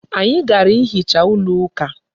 Anyị gara hichaa ụlọ ụka.